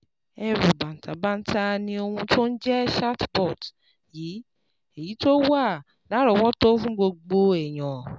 Ẹ̀rù bàǹtàbanta ni ohun tó ń jẹ́ chatbot yìí, èyí tó wà lárọ̀ọ́wọ́tó fún gbogbo èèyàn